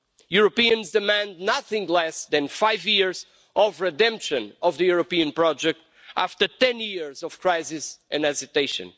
Europeans demand nothing less than five years of redemption of the European project after 10 years of crisis and hesitation.